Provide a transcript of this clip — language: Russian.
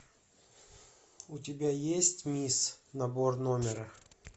у тебя есть мисс набор номера